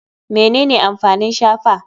Menene amfanin shafa?